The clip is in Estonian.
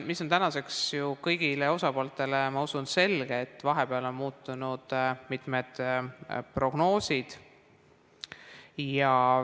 Tänaseks on ju kõigile osapooltele, ma usun, selge, et vahepeal on mitmed prognoosid muutunud.